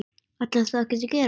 Ætlarðu þá ekkert að gera?